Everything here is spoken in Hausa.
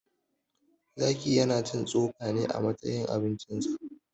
Zaki ya na cin tsoka ne a matsayin abincin sa.